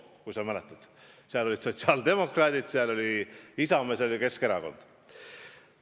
Kui sa mäletad, seal olid sotsiaaldemokraadid, seal oli Isamaa ja seal oli Keskerakond.